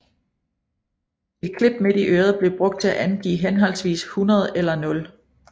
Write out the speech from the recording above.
Et klip midt i øret blev brugt til at angive henholdsvis 100 eller 0